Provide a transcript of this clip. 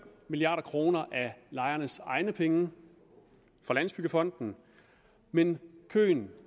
milliard kroner af lejernes egne penge fra landsbyggefonden men køen